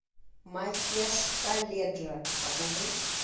махеш каледжа покажи